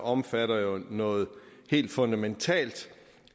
omfatter noget helt fundamentalt